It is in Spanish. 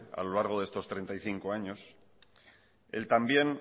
a lo largo de estos treinta y cinco años el también